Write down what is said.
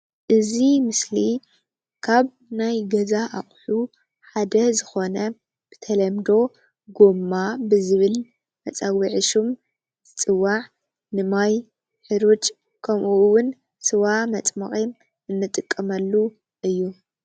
እዚ ምስሊ ካብ ናይ ገዛ ኣቅሑ ሓደ ዝኮነ ብተለምዶ ጎማ ብዝብል መፀውዒ ሽም ዝፅዋዕ ንማይ፣ ሕሩጭ ከምኡውን ስዋ መፅመቂ እንጥቀመሉ እዩ፡፡